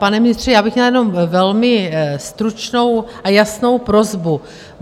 Pane ministře, já bych měla jenom velmi stručnou a jasnou prosbu.